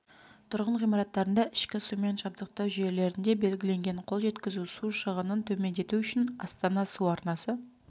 тұрғын ғимараттарында ішкі сумен жабдықтау жүйелерінде белгіленген қол жеткізу су шығынын төмендету үшін астана су арнасы